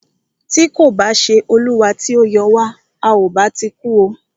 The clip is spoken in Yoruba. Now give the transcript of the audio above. Tí kò bá ṣé olúwa tí o yọ wa,à o bá ti kú o.